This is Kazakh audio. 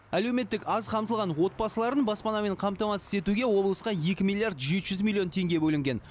әлеуметтік аз қамтылған отбасыларын баспанамен қамтамассыз етуге облысқа екі миллиард жеті жүз миллион теңге бөлінген